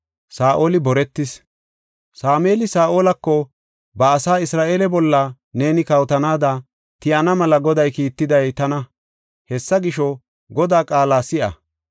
Sameeli Saa7olako, “Ba asaa Isra7eele bolla neeni kawotanaada tiyana mela Goday kiittiday tana. Hessa gisho, Godaa qaala si7a.